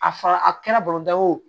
A fara a kɛra baro da ye o